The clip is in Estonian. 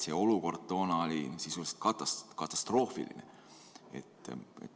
See olukord toona oli sisuliselt katastroofiline.